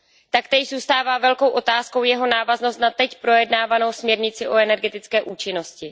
Taktéž zůstává velkou otázkou jeho návaznost na teď projednávanou směrnici o energetické účinnosti.